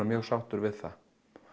mjög sáttur við það